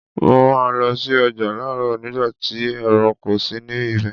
Mo máa ń lọ sí ọjà láròóò nígbà tí èrò kò sí ní ibẹ̀